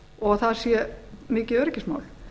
og það sé mikið öryggismál